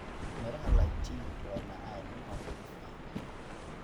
Midhaha lychee waa macaan oo nadiif ah.